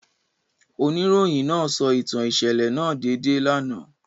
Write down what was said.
Onirohin naa sọ itan iṣẹlẹ naa deede lana.